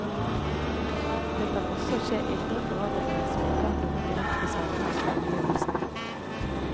Det kan også skje indre forandringer som ikke har noen direkte sammenheng med omgivelsene.